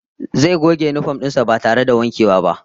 Zai goge yinifom din sa ba tare da wankewa ba